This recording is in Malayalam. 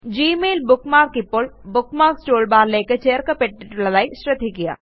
ഗ്മെയിൽ ബുക്ക്മാർക്ക് ഇപ്പോൾ ബുക്ക്മാർക്സ് toolbarലേയ്ക്ക് ചേർക്കപ്പെട്ടിട്ടുള്ളതായി ശ്രദ്ധിക്കുക